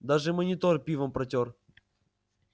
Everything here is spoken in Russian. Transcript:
даже монитор пивом протёр